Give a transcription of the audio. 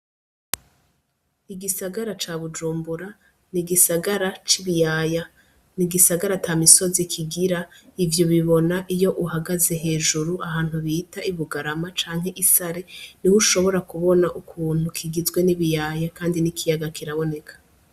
Igisagara ca Bujumbura ni igisagara c'ibiyaya. Ni igisagara ata misozi kigira, ivyo ubibona iyo uhagaze hejuru ahantu bita i Bugarama canke i Sare, niho ushobora kubona ukuntu kigizwe n'ibiyaya kandi n'ikiyaga kiraboneka.